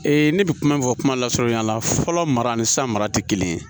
ne bɛ kuma fɔ kuma lasurunya la fɔlɔ mara ni sa mara tɛ kelen ye